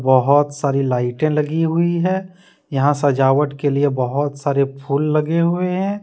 बहुत सारी लाइटें लगी हुई है यहां सजावट के लिए बहुत सारे फूल लगे हुए हैं।